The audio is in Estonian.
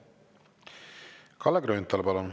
Kalle Grünthal, palun!